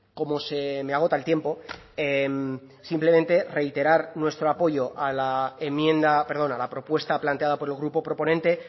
como se me agota el tiempo simplemente reiterar nuestro apoyo a la enmienda perdón a la propuesta planteada por el grupo proponente